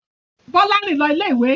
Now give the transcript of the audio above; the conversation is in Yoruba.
Bọ́lá rìn lọ ilé-ìwé.